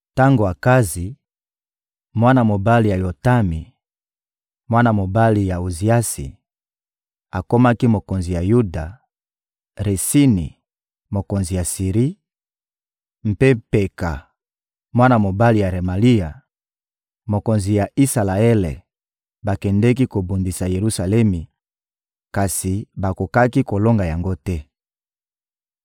Tango Akazi, mwana mobali ya Yotami, mwana mobali ya Oziasi, akomaki mokonzi ya Yuda, Retsini, mokonzi ya Siri, mpe Peka, mwana mobali ya Remalia, mokonzi ya Isalaele, bakendeki kobundisa Yelusalemi, kasi bakokaki kolonga yango te.